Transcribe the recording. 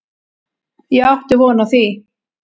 Ég átti von á því.